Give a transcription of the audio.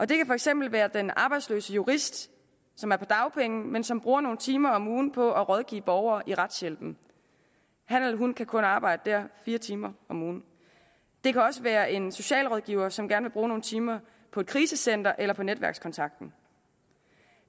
det kan for eksempel være den arbejdsløse jurist som er på dagpenge men som bruger nogle timer om ugen på at rådgive borgere i retshjælpen han eller hun kan kun arbejde der fire timer om ugen det kan også være en socialrådgiver som gerne vil bruge nogle timer på et krisecenter eller på netværkskontakten